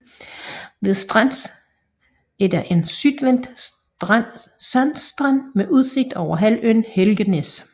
Ved Strands er der en sydvendt sandstrand med udsigt over halvøen Helgenæs